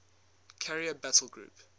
carrier battle group